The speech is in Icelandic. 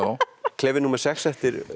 klefi númer sex eftir